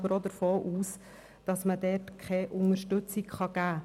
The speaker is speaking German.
Ich gehe aber davon aus, dass er dort keine Unterstützung finden kann.